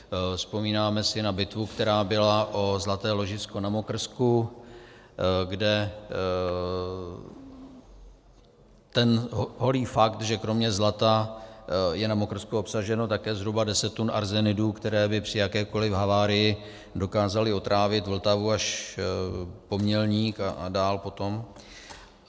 Vzpomínáme si na bitvu, která byla o zlaté ložisko na Mokrsku, kde ten holý fakt, že kromě zlata je na Mokrsku obsaženo také zhruba 10 tun arzenidů, které by při jakékoliv havárii dokázaly otrávit Vltavu až po Mělník a dál potom.